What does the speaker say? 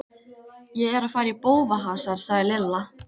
Ég er að fara í bófahasar sagði Lilla.